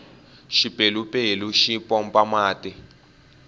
xipelupelu xi pompa mati